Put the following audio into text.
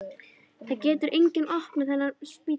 Það getur enginn opnað þennan spítala.